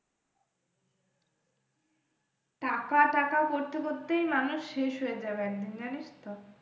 টাকা টাকা করতে করতেই মানুষ শেষ হয়ে যাবে একদিন জানিস তো।